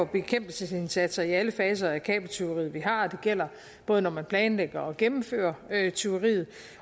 bekæmpelsesindsatser i alle faser af kabeltyveriet vi har det gælder både når man planlægger og gennemfører tyveriet